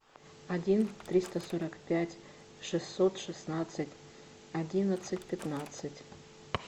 один триста сорок пять шестьсот шестнадцать одиннадцать пятнадцать